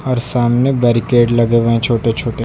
और सामने बैरीकेड लगे हुए हैं छोटे छोटे।